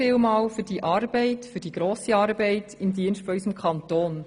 Vielen Dank für diese grosse Arbeit im Dienste unseres Kantons.